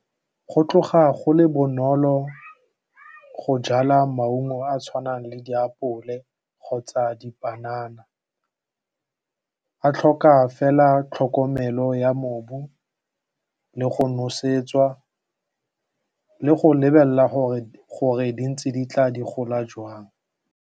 Go tloga go le bonolo go jala maungo a a tshwanang le diapole kgotsa dipanana a tlhoka fela tlhokomelo ya mobu le go nosetswa le go lebelela gore di ntse di tla di gola jwang.